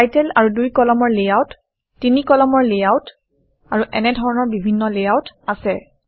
title আৰু দুই কলমৰ লেআউট তিনি কলমৰ লেআউট আৰু এনেধৰণৰ বিভিন্ন লেআউট আছে